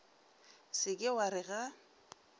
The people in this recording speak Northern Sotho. se ke wa re ga